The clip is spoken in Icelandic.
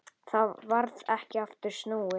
Þá varð ekki aftur snúið.